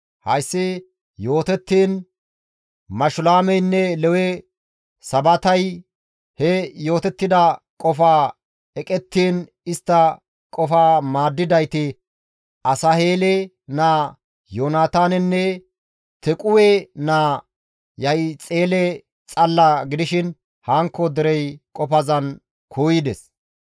Hayssi yootettiin Mashulaameynne Lewe Sabatay he yootettida qofaa eqettiin istta qofa maaddidayti Asaheele naa Yoonataanenne Tequwe naa Yahixele xalla gidishin hankko derey qofazan kuuyides.